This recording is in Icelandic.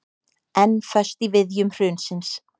Enn föst í viðjum hrunsins